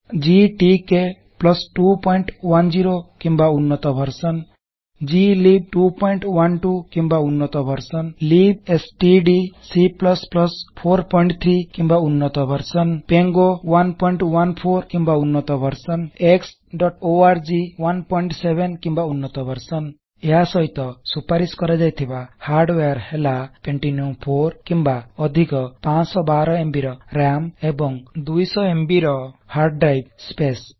GTK 210 କିମ୍ବା ଉନ୍ନତ version glibc 212 କିମ୍ବା ଉନ୍ନତ ଭର୍ଜନ libstdc 43 କିମ୍ବା ଉନ୍ନତ ଭର୍ଜନ ପାଙ୍ଗୋ 114 କିମ୍ବା ଉନ୍ନତ ଭର୍ଜନ xଓଆରଜି 17 କିମ୍ବା ଉନ୍ନତ ଭର୍ଜନ ଏହା ସହିତ ସୁପାରିଶ କରାଯାଇଥିବା ହାର୍ଡ଼ଓବର ହେଲା ପେଣ୍ଟିୟମ୍ 4 କିମ୍ବା ଅଧିକ 512ଏମବି ର ରାମ୍ ଏବଂ 200ଏମବି ର ହାର୍ଡ଼ଡ୍ରିବେ ସ୍ପସେ